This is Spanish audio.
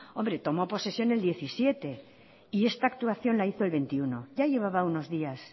hombre tomó posesión el diecisiete y esta actuación la hizo el veintiuno ya llevaba unos días